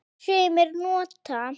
Sumir nota